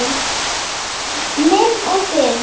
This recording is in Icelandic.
Minn og þinn.